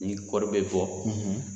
Ni kɔɔri bɛ bɔ